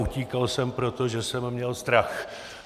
Utíkal jsem, protože jsem měl strach.